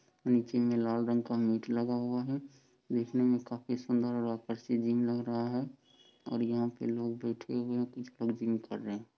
निचे मैं लाल रंग का नेट लगा हुआ है। देखने मैं काफी सुन्दर और आकर्षित जिम लग रहा है और यहाँ पे लोग बैठे हुए हैं और कुछ जिम कर रहे हैं।